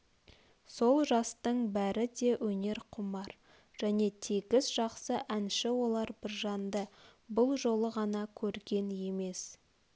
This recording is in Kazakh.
сол жастың бәрі де өнерқұмар және тегіс жақсы әнші олар біржанды бұл жолы ғана көрген емес